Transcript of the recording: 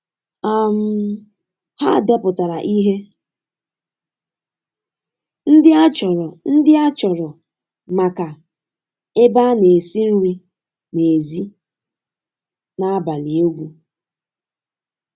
um Ha depụtara ihe ndị achọrọ ndị achọrọ maka ebe a na-esi nri n'èzí na abalị egwu.